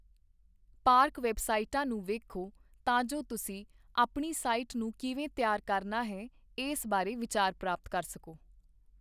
Park ਵੈੱਬਸਾਈਟਾਂ ਨੂੰ ਵੇਖੋ ਤਾਂ ਜੋ ਤੁਸੀਂ ਆਪਣੀ ਸਾਈਟ ਨੂੰ ਕਿਵੇਂ ਤਿਆਰ ਕਰਨਾ ਹੈ ਇਸ ਬਾਰੇ ਵਿਚਾਰ ਪ੍ਰਾਪਤ ਕਰ ਸਕੋ।